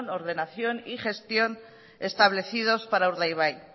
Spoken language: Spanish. ordenación y gestión establecidos para urdaibai